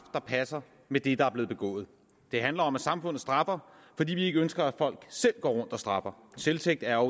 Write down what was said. der passer med det der er blevet begået det handler om at samfundet straffer fordi vi ikke ønsker at folk selv går rundt og straffer selvtægt er